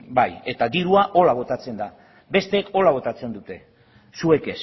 ba bai eta dirua horrela botatzen da besteek horrela botatzen dute zuek